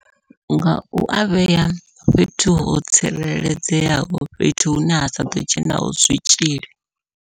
Nga ua vhea fhethu ho tsireledzeaho fhethu hune ha saḓo dzhenaho zwitzhili.